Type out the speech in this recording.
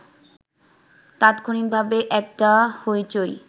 তাৎক্ষণিকভাবে একটা হইচই